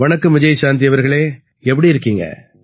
வணக்கம் விஜயசாந்தி அவர்களே எப்படி இருக்கீங்க